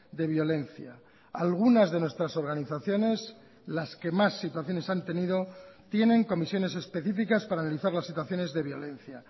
de violencia algunas de nuestras organizaciones las que más situaciones han tenido tienen comisiones específicas para analizar las situaciones de violencia